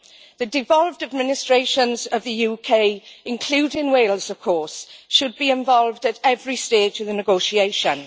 The devolved administrations of the UK, including Wales, should be involved at every stage of the negotiations.